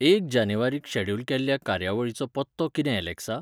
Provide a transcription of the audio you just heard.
एक जानेवारीक शेड्युल केल्ल्या कार्यावळीचो पत्तो कितें ऍलॅक्सा?